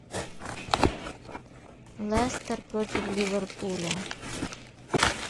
лестер против ливерпуля